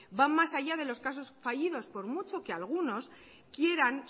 van más allá de los casos fallidos por mucho que algunos quieran